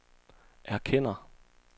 erkender